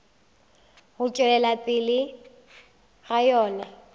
go tšwelela pele ga yona